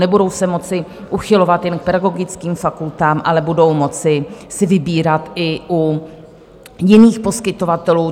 Nebudou se moci uchylovat jen k pedagogickým fakultám, ale budou si moci vybírat i u jiných poskytovatelů.